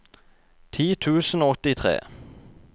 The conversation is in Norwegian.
ti tusen og åttitre